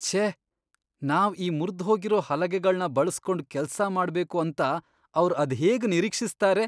ಛೇ! ನಾವ್ ಈ ಮುರ್ದ್ಹೋಗಿರೋ ಹಲಗೆಗಳ್ನ ಬಳ್ಸ್ಕೊಂಡ್ ಕೆಲ್ಸ ಮಾಡ್ಬೇಕು ಅಂತ ಅವ್ರ್ ಅದ್ಹೇಗ್ ನಿರೀಕ್ಷಿಸ್ತಾರೆ!